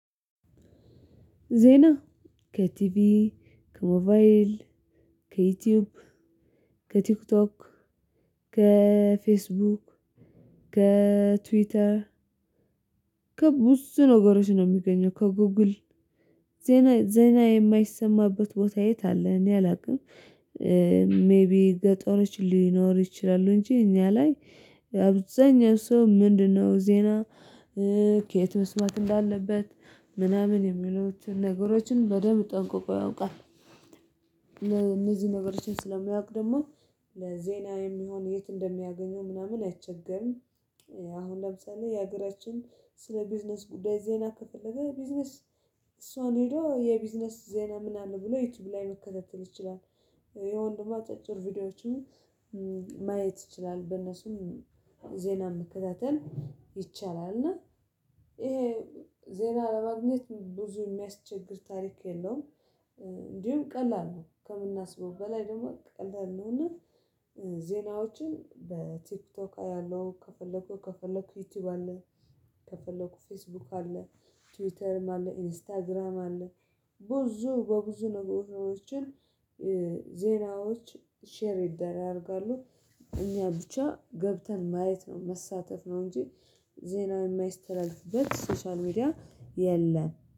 ዜና ከቲቪ ከሞባይል ከዩቲዩብ ከቲክቶክ ከፌስቡክ ከትዊተር ከቡዙ ነገሮች ነው የሚገኘው ከጉጉል ዜና ዜና የማይሰማበት ቦታ የት አለ እኔ አላውቅም። ሜይቢ ገጠሮች ሊኖር ይችላሉ። እንጂ እኛ ላይ አብዛኛው ሰው ምንድነው? ዜና ከየት መስማት እንዳለበት ምናምን የሚለው የሚሉትን ነገሮችን በደንብ ጠንቆቆ ያውቃል። እነዚህ ነገሮችን ስለማያውቅ ደግሞ ለዜና የሚሆን የት እንደሚያገኘው ምናምን አይቸገምም። አሁን ለምሳሌ የሀገራችን ስለ ቢዝነስ ጉዳይ ዜና ከፈለገ ቢዝነስ እሷን ሄዶ የቢዝነስ ዜና ምናምን ብሎ ዩቲዩብ ላይ መከታተል ይችላል። ወይም ደግሞ አጫጭር ቪዲዮዎችን ማየት ይችላል በነሱም ዜና መከታተል ይቻላል። እና ይሄ ዜና ለማግኘት ብዙ የሚያስቸግር ታሪክ የለውም። እንዲሁም ቀላል ነው ከምናስበው በላይ ደግሞ ቀላል ነውና። እና ዜናዎችን በቲክቶክ አያለሁ ከፈለኩ ከፈለኩ ዩቲዩብ አለ። ከፈለኩ ፌስቡክ አለ። ትዊተርም አለ ኢንስታግራም አለ። ብዙ በብዙ ነገሮችን ዜናዎች ሼር ይደራረጋሉ። እኛ ብቻ ገብተን ማየት ነው መሳተፍ ነው እንጂ ዜና የማይስተላልፍበት ሶሻል ሚዲያ የለም